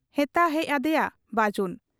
ᱦᱮᱛᱟ ᱦᱮᱡ ᱟᱫᱮᱭᱟ ᱵᱟᱹᱡᱩᱱ ᱾